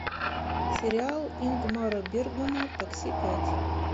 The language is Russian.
сериал ингмара бергмана такси пять